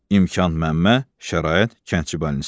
İmkan Məmmə, şərait kəndçibalnisası.